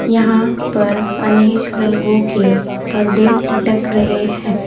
यहां पर अनेक रंगों के पर्दे लटक रहे हैं।